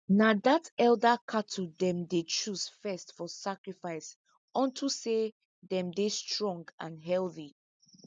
na that elder cattle them dey choose first for sacrifice onto say them dey strong and healthy